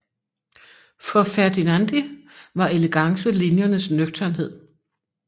For Ferdinandi var elegance linjernes nøgternhed